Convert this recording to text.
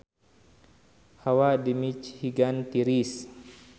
Hawa di Michigan tiris